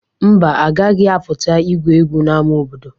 Mba, agaghị apụta igwu egwu n'ama obodo.